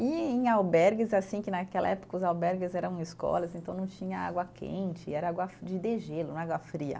E em albergues, assim, que naquela época os albergues eram escolas, então não tinha água quente, era água fri, de degelo, né, água fria.